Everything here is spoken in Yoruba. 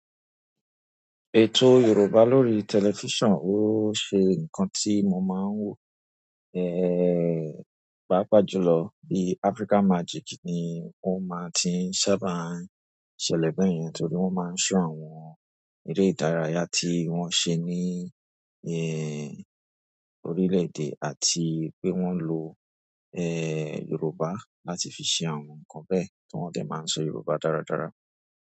Ètò Yorùbá lórí tẹlifísàn, ó ṣe ǹkan tí mo máa ń wò, ehhh, pàápàá jùlọ bí Africa Magic ni wọ́n máa ti ń sábà ṣẹlẹ̀ bẹ́yẹn torí wọ́n máa ń ṣọ àwọn eré ìdárayá tí wọ́n ṣe ní, ehhh, orílè-èdè àti pé wọ́n ń lo, ehhh, Yorùbá láti fi ṣe àwọn ǹkan bẹ́ẹ̀ tí wọ́n dẹ̀ máa ń sọ Yorùbá dáradára.